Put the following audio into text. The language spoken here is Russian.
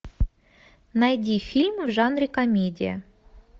найди фильм в жанре комедия